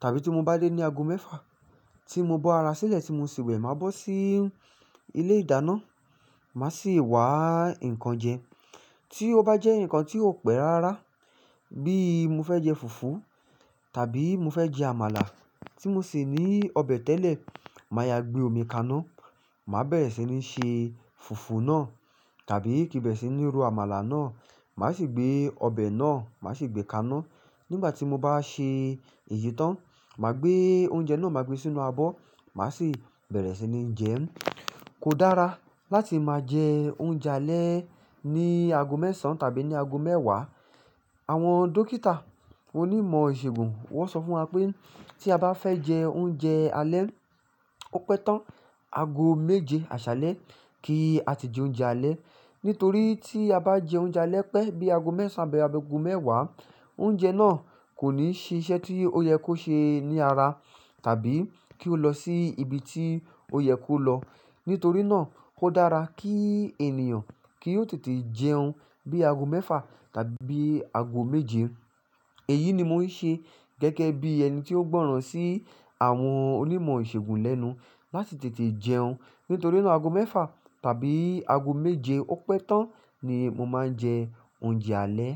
tàbí tí mo bá dé ní ago mẹ́fà, tí mo bọ ara sílẹ̀ tí mo sì wẹ̀, màá bọ́ sí ilé-ìdáná, màá sì wá nǹkan jẹ. Tí ó bá jẹ́ nǹkan tí ó pẹ́ rárá bí i mo fẹ́ jẹ fùfú tàbí mo fẹ́ jẹ àmàlà tí mo sè ní ọbẹ̀ tẹ́lẹ̀, màá yá gbé omi kaná, màá bẹ̀rẹ̀ sí ní se fùfú náà tàbí kí n bẹ̀rẹ̀ sí ní ro àmàlà náà. Màá sì gbé ọbẹ̀ náà, màá sì gbé kaná. Nígbà tí mo báà ṣe èyí tán, màá gbé oúnjẹ náà ma gbé sínú abọ́, màá sì bẹ̀rẹ̀ sí ní jẹ. Kò dára láti máa jẹ oúnjẹ alẹ́ ní ago mẹ́sàn tàbí ní ago mẹ́wàá. Àwọn dókítà onímọ̀ ìṣègùn wọ́n sọ fún wa pé tí a bá fẹ́ jẹ oúnjẹ alẹ́, ó pẹ́ tán ago méje àṣálẹ́ kí á ti jẹ oúnjẹ alẹ́. Nítorí tí a bá jẹ oúnjẹ alẹ́ pẹ́ bí ago mẹ́sàn àbí ago mẹ́wàá, oúnjẹ náà kò ní ṣiṣẹ́ tí ó yẹ kó ṣe ní ara tàbí kí ó lọ sí ibi tí ó yẹ kó lọ. Nítorí náà ó dára kí ènìyàn kí ó tètè jẹun bí ago mẹ́fà tàbí ago méje. Èyí ni mo ń ṣe gẹ́gẹ́ bí ẹni tí ó gbọ́ràn sí àwọn onímọ̀ ìṣègùn lẹ́nu láti tètè jẹun. Nítorí náà ago mẹ́fà tàbí ago méje ó pẹ́ tán ni mo máa ń jẹ oúnjẹ alẹ́.